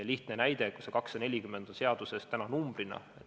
Lihtne näide: see 240 on seaduses täna numbrina.